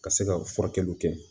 Ka se ka furakɛliw kɛ